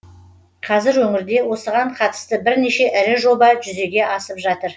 қазір өңірде осыған қатысты бірнеше ірі жоба жүзеге асып жатыр